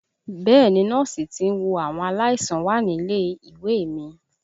Bẹ́ẹ̀ni Nọ́ọ̀sì tí ń wo àwọn aláìsàn wà nílé ìwé mi